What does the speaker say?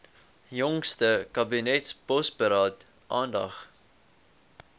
jongste kabinetsbosberaad aandag